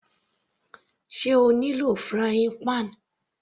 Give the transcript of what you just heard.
Sé O ní lò frying pan?